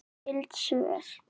Skyld svör